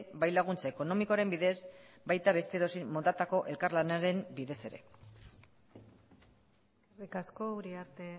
bai laguntza ekonomikoaren bidez eta baita beste edozein motatako elkarlanaren bidez ere eskerrik asko uriarte